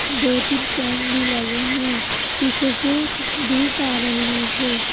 दो-तीन फैन भी लगे हैं पीछे से धूप आ रही है।